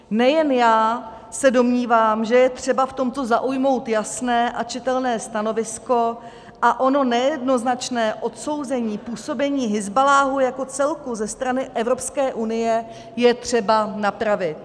Nejen já se domnívám, že je třeba v tomto zaujmout jasné a čitelné stanovisko a ono nejednoznačné odsouzení působení Hizballáhu jako celku ze strany Evropské unie je třeba napravit.